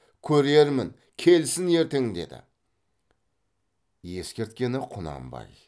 көрермін келсін ертең деді ескерткені құнанбай